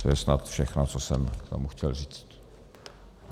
To je snad všechno, co jsem vám chtěl říct.